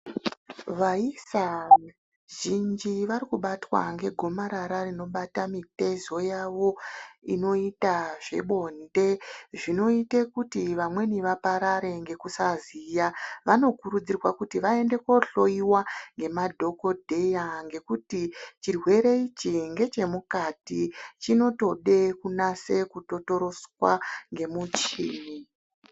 Vaisa vazhinji varikubatwa ngegomarara rinobata mitezo yavo inoita zvebonde zvinoita kuti vamweni vaparare ngekusaziya vanokurudzirwa kuti vaende kohloiwa ngemadhokodheya ngekuti chirwere ichi ngechemukati chinotode kunase kutotoroswa ngemuchini .